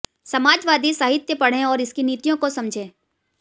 समाजवादी साहित्य पढ़ें और उसकी नीतियों को समझें